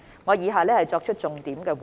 我作出以下重點回應。